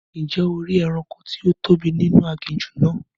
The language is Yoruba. Ǹjẹ́ o ri ẹranko tí ó tóbi nínú aginjù náà?